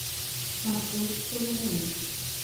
маршрут сулугуни